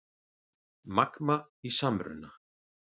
Magma í samruna